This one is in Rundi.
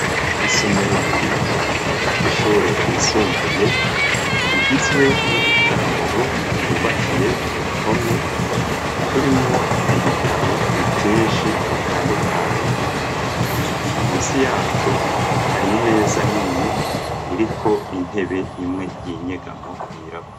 Isomero ry'ibitabo ry'ishure yisumbuye igizwe n'udutaramuro twubakiye ku ruhome turimwo ibitabo vyinshi bitandukanye munsi yatwo hari imeza nini iriko intebe imwe y'inyegamo yirabura.